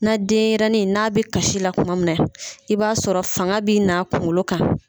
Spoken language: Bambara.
Na denyɛrɛnin n'a bɛ kasi la kuma min na i b'a sɔrɔ fanga bɛ n a kunkolo kan.